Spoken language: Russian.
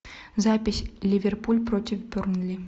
запись ливерпуль против бернли